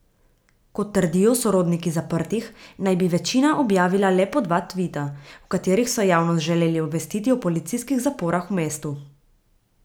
Kot trdijo sorodniki zaprtih, naj bi večina objavila le po dva tvita, v katerih so javnost želeli obvestiti o policijskih zaporah v mestu.